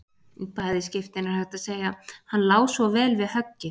Í bæði skiptin er hægt að segja: Hann lá svo vel við höggi.